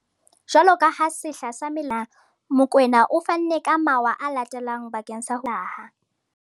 Jwaloka ha sehla sa mello se se se fihlile tjena, Mokoena o fanne ka mawa a latelang bakeng sa ho thibela mello ya hlaha.